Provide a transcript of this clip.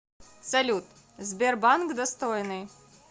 салют сбербанк достойный